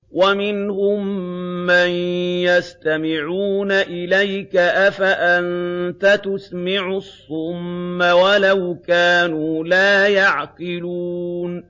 وَمِنْهُم مَّن يَسْتَمِعُونَ إِلَيْكَ ۚ أَفَأَنتَ تُسْمِعُ الصُّمَّ وَلَوْ كَانُوا لَا يَعْقِلُونَ